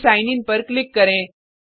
फिर sign in पर click करें